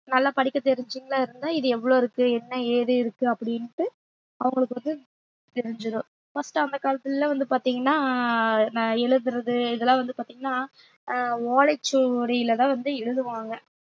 நல்லா படிக்க தெரிஞ்சவங்களா இருந்தா இது எவ்வளவு இருக்கு என்ன ஏது இருக்கு அப்படின்ட்டு அவங்களுக்கு வந்து தெரிஞ்சிரும் first அந்த காலத்துல எல்லாம் வந்து பாத்தீங்கன்னா நான் எழுதுறது இதெல்லாம் வந்து பாத்தீங்கன்னா ஆஹ் ஓலைச்சுவடியிலதான் வந்து எழுதுவாங்க